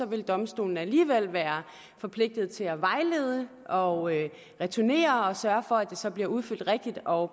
vil domstolen alligevel være forpligtet til at vejlede og returnere den og sørge for at den så bliver udfyldt rigtigt og